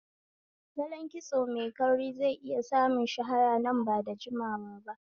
Salon kitso mai kauri zai iya samun shahara nan ba da jimawa ba.